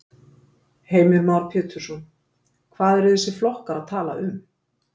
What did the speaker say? Heimir Már Pétursson: Hvað eru þessir flokkar að tala um?